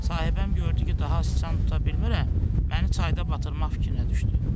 Sahibəm gördü ki, daha siçan tuta bilmirəm, məni çayda batırmaq fikrinə düşdü.